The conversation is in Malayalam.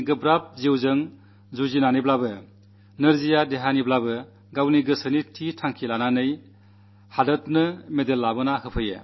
കഷ്ടതകൾ നിറഞ്ഞ ജീവിതം നയിക്കയാണെങ്കിലും ശാരീരിക ബുദ്ധിമുട്ടുകളുണ്ടെങ്കിലും നിശ്ചദാർഢ്യത്തിലൂടെ നാടിനുവേണ്ടി മെഡൽ നേടി